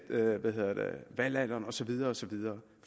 valgalderen og så videre og så videre